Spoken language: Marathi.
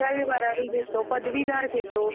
दहावी बारावी घेतो, पदवीधर घेतो